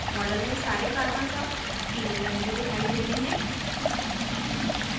model में सारे carbons all पीले रंग में दिखाई देते हैं